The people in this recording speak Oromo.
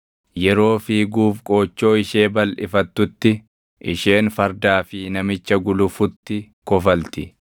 Yeroo fiiguuf qoochoo ishee balʼifattutti, isheen fardaa fi namicha gulufutti kofalti.